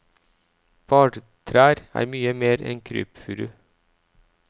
Bartrær er mye mer enn krypfuru.